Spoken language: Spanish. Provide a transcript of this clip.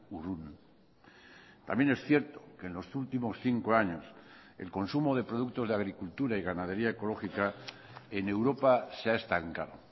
urrun también es cierto que en los últimos cinco años el consumo de productos de agricultura y ganadería ecológica en europa se ha estancado